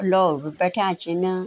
लोग भी बैठ्याँ छिन।